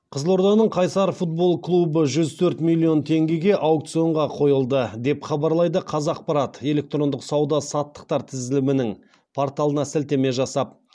қызылорданың қайсар футбол клубы жүз төрт миллион теңгеге аукционға қойылды деп хабарлайды қазақпарат электрондық сауда саттықтар тізілімінің порталына сілтеме жасап